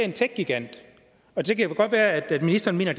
en techgigant og det kan godt være at ministeren mener